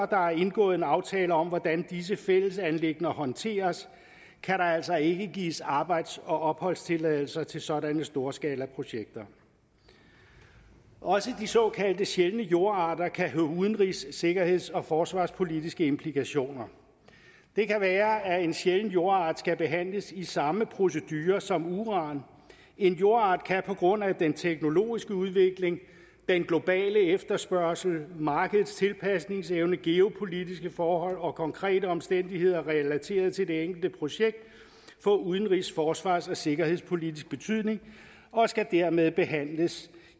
der er indgået en aftale om hvordan disse fællesanliggender håndteres kan der altså ikke gives arbejds og opholdstilladelser til sådanne storskalaprojekter også de såkaldte sjældne jordarter kan have udenrigs sikkerheds og forsvarspolitiske implikationer det kan være at en sjælden jordart skal behandles i samme procedure som uran en jordart kan på grund af den teknologiske udvikling den globale efterspørgsel markedets tilpasningsevne geopolitiske forhold og konkrete omstændigheder relateret til det enkelte projekt få udenrigs forsvars og sikkerhedspolitisk betydning og skal dermed behandles